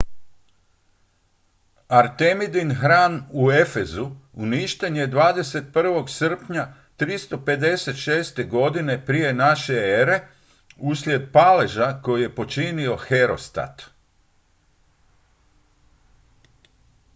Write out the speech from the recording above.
artemidin hram u efezu uništen je 21. srpnja 356. godine p.n.e. uslijed paleža koji je počinio herostat